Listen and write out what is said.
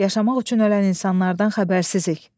Yaşamaq üçün ölən insanlardan xəbərsizik.